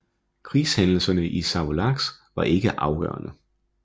Krigshændelserne i Savolax var ikke afgørende